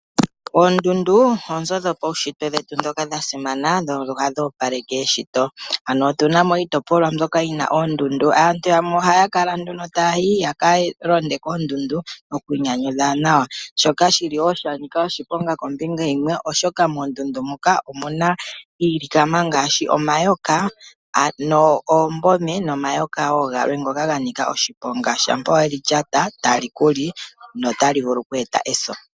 Oondundu oonzo dhetu dhopaunshitwe ndhoka dha simana dho ohadhi opaleke eshito. Otu na mo iitopolwa mbyoka yi na oondundu. Aantu yamwe ohaya kala nduno taya yi ya ka londe koondundu, opo ya ki inyanyudhe nawa. Shoka shi li wo sha nika oshiponga kombinga yimwe, oshoka moondundu moka omu na iilikama ngaashi omayoka ano oombome nomayoka wo galwe ngoka ga nika oshiponga. Shampaa we li lyata otali ku li notali vulu oku eta eso.